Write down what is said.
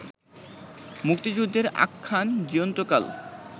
মুক্তিযুদ্ধের আখ্যান জীয়ন্তকাল